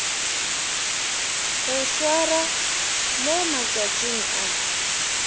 go swarwa mo matšatšing a